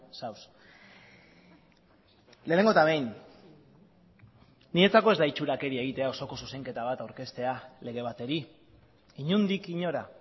zaude lehenengo eta behin niretzako ez da itxurakeria egitea osoko zuzenketa bat aurkeztea lege bateri inondik inora